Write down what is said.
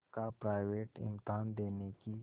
का प्राइवेट इम्तहान देने की